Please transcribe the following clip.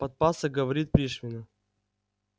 подпасок говорит пришвину